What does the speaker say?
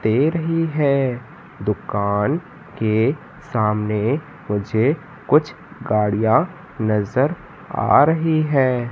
दे रही है दुकान के सामने मुझे कुछ गाड़ियाँ नज़र आ रही हैं।